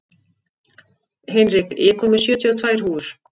Hinrik, ég kom með sjötíu og tvær húfur!